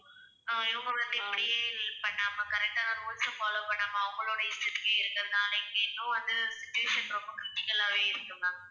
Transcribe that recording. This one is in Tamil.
அஹ் இவங்க வந்து இப்படியே பண்ணாம correct ஆன rules அ follow பண்ணாம அவங்களோட இஷ்டத்துக்கே இருக்குறதனால இங்க இன்னும் வந்து situation ரொம்ப critical ஆவே இருக்கும் ma'am